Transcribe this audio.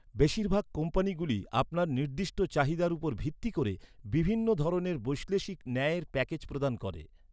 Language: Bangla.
বেশিরভাগ কোম্পানিগুলি আপনার নির্দিষ্ট চাহিদার উপর ভিত্তি করে বিভিন্ন ধরনের বৈশ্লেষিক ন্যায়ের প্যাকেজ প্রদান করে।